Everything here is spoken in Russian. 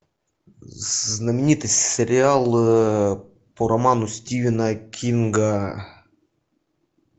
знаменитый сериал по роману стивена кинга